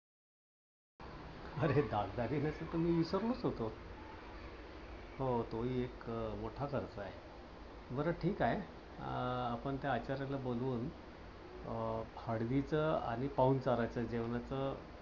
आरे दागदागिन्याच तर मी विसरलोच होतो. हो तोही एक मोठा खर्च आहे. बर ठीक आहे. अं आपण त्या आचाऱ्याला बोलवून, हळदीच आणि पाहुणचाराच्या जेवणा च